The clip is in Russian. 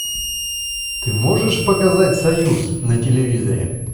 ты можешь показать союз на телевизоре